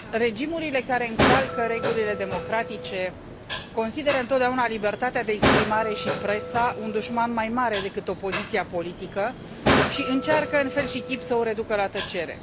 Regimurile care încalcă regulile democratice consideră întotdeauna libertatea de exprimare și presa un dușman mai mare decât opoziția politică și încearcă în fel și chip să o reducă la tăcere.